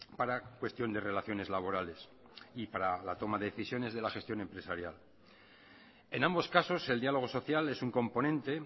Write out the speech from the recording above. para cuestión de relaciones laborales y para la toma de decisiones de la gestión empresarial en ambos casos el diálogo social es un componente